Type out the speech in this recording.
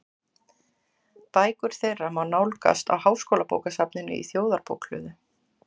Bækur þeirra má nálgast á Háskólabókasafninu í Þjóðarbókhlöðu.